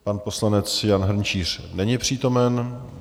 Pan poslanec Jan Hrnčíř není přítomen.